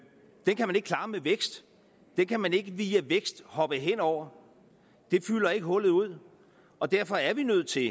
kan man ikke klare med vækst den kan man ikke via vækst hoppe hen over det fylder ikke hullet ud og derfor er vi nødt til